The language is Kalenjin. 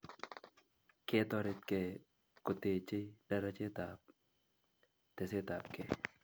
Ketoretkei ko techei darachetap tesetapkei